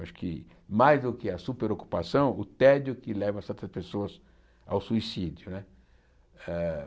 Acho que, mais do que a superocupação, o tédio que leva certas pessoas ao suicídio né ah.